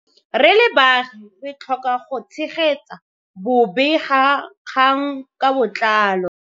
Re le baagi re tlhoka go tshegetsa bobegakgang ka botlalo.